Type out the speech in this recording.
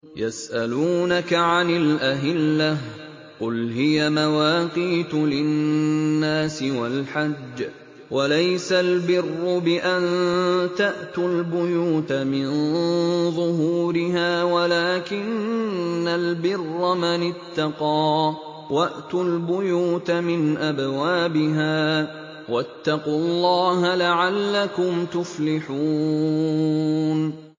۞ يَسْأَلُونَكَ عَنِ الْأَهِلَّةِ ۖ قُلْ هِيَ مَوَاقِيتُ لِلنَّاسِ وَالْحَجِّ ۗ وَلَيْسَ الْبِرُّ بِأَن تَأْتُوا الْبُيُوتَ مِن ظُهُورِهَا وَلَٰكِنَّ الْبِرَّ مَنِ اتَّقَىٰ ۗ وَأْتُوا الْبُيُوتَ مِنْ أَبْوَابِهَا ۚ وَاتَّقُوا اللَّهَ لَعَلَّكُمْ تُفْلِحُونَ